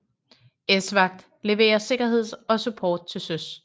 ESVAGT leverer sikkerhed og support til søs